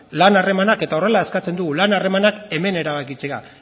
lan harremanak eta horrela eskatzen dugu lan harremanak hemen erabakitzea